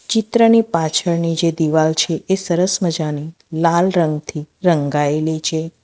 ચિત્રની પાછળની જે દીવાલ છે એ સરસ મજાની લાલ રંગથી રંગાયેલી છે.